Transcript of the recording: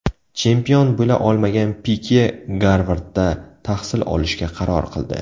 Chempion bo‘la olmagan Pike Garvardda tahsil olishga qaror qildi.